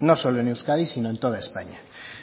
no solo en euskadi sino en toda españa